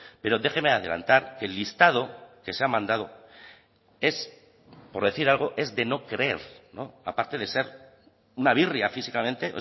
pero déjeme adelantar que el listado que se ha mandado es por decir algo es de no creer aparte de ser una birria físicamente